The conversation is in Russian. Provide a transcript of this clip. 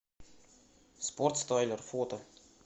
спортстайлер фото